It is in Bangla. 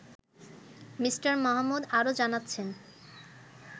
মি. মাহমুদ আরও জানাচ্ছেন